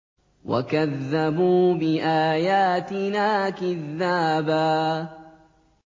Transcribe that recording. وَكَذَّبُوا بِآيَاتِنَا كِذَّابًا